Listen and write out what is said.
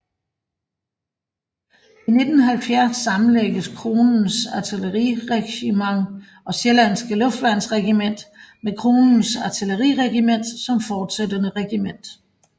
I 1970 sammenlægges Kronens Artilleriregiment og Sjællandske Luftværnsregiment med Kronens Artilleriregiment som fortsættende regiment